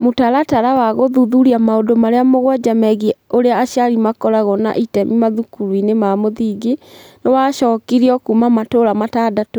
Mũtaratara wa gũthuthuria maũndũ marĩa mũgwanja megiĩ ũrĩa aciari makoragwo na itemi mathukuru-inĩ ma mũthingi nĩ wacokirio kuuma matũũra matandatũ.